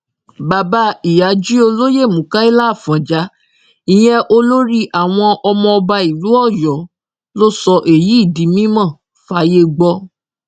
bàbá ìyájí olóyè mukaila afọnjá ìyẹn olórí àwọn ọmọ ọba ìlú ọyọ ló sọ èyí di mímọ fáyé gbọ